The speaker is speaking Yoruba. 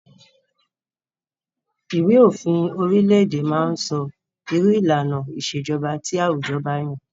Ìwé òfin orile-èdè máa ń sọ irú ìlànà ìṣèjọba tí àwùjọ ba yàn.